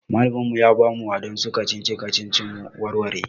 Malamin mu ya bamu waɗansu kacici-kacici mu warware.